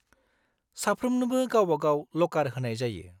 -साफ्रोमनोबो गावबा गाव लकार होनाय जायो।